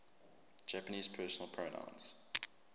japanese personal pronouns